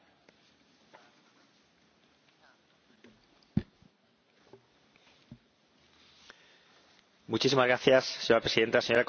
Señora Presidenta, señora Comisaria, creo que debemos felicitarnos por el hecho de que una Resolución con un apoyo tan amplio haya llegado hoy a este Parlamento.